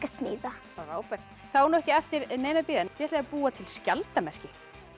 smíða þá er ekki eftir neinu að bíða þið ætlið að búa til skjaldarmerki